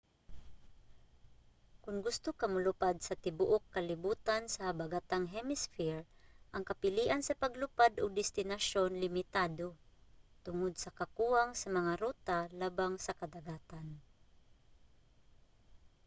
kon gusto ka molupad sa tibuuk kalibutan sa habagatang hemisphere ang kapilian sa paglupad ug destinasyon limitado tungod sa kakuwang sa mga ruta labang sa kadagatan